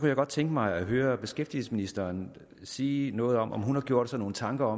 jeg godt tænke mig at høre beskæftigelsesministeren sige noget om om hun har gjort sig nogen tanker